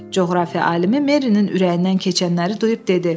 Coğrafiya alimi Merinin ürəyindən keçənləri duyub dedi: